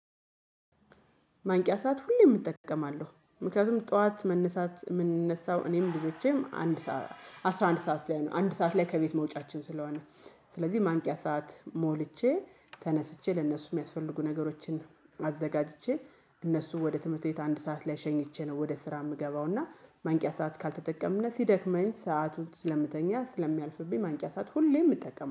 ማንቂያ ሰዓት ሁሌም እጠቀማለሁ ምክንያቱም ጠዋት መነሳት የምንነሳው እኔም ልጆቼም አንድ አስራ አንድ ሰዓት ላይ ነው አንድ ሰዓት ላይ ከቤት መውጫችን ስለሆነ። ስለዚህ ማንቂያ ሰዓት ሞልቼ ተነስቼ ለእነሱ የሚያስፈልጉ ነገሮችን አዘጋጅቼ እነሱ ወደ ትምህርት ቤት አንድ ሰዓት ላይ ሸኝቼ ነው። ወደ ስራ የምገባው እና ማንቂያ ሰዓት ካልተጠቀምን ሲደክመኝ ሰአቱን ስለምተኛ ስለሚያልፍብኝ ማንቂያ ሰዓት ሁሌም እጠቀማለሁ